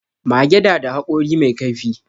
Mage da da haƙori mai kaifi